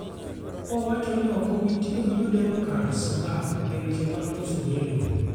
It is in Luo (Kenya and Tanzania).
Owacho ni ok obi otiyo gi jo Democrats ngang' e weche mag loso gedo